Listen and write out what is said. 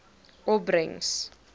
opbrengs